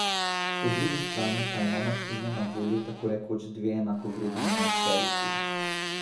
Po drugi strani pa ima Martino na voljo tako rekoč dve enakovredni enajsterici.